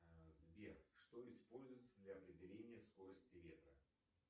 сбер что используется для определения скорости ветра